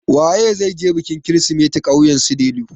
Waye zai je bikin kirsimeti ƙauyen su Delu?